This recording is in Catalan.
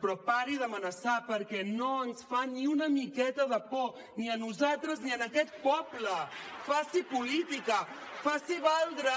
però pari d’amenaçar perquè no ens fa ni una miqueta de por ni a nosaltres ni a aquest poble faci política faci valdre